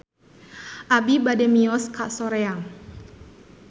Abi bade mios ka Soreang